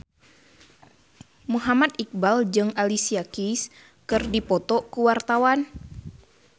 Muhammad Iqbal jeung Alicia Keys keur dipoto ku wartawan